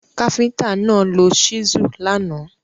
Káfíntà náà lo ṣísù lánàá.